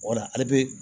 Wala ale bɛ